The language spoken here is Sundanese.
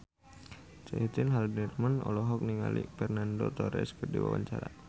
Caitlin Halderman olohok ningali Fernando Torres keur diwawancara